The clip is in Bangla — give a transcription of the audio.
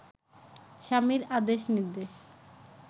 স্বামীর আদেশ নির্দেশ